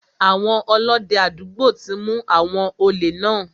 Àwọn Ọlọ́dẹ àdúgbò ti mu àwọn òlè náà.